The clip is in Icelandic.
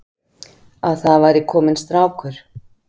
Að það væri kominn strákur.